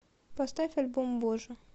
поставь альбом боже